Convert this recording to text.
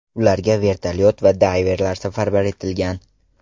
Ularga vertolyot va dayverlar safarbar etilgan.